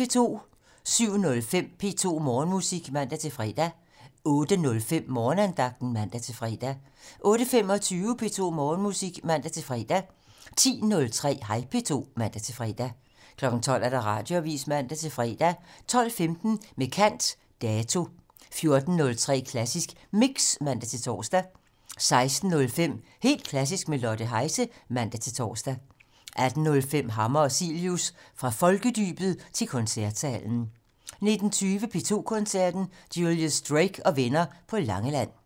07:05: P2 Morgenmusik (man-fre) 08:05: Morgenandagten (man-fre) 08:25: P2 Morgenmusik (man-fre) 10:03: Hej P2 (man-fre) 12:00: Radioavisen (man-fre) 12:15: Med kant - Dato 14:03: Klassisk Mix (man-tor) 16:05: Helt Klassisk med Lotte Heise (man-tor) 18:05: Hammer og Cilius - Fra folkedybet til koncertsalen 19:20: P2 Koncerten - Julius Drake og venner på Langeland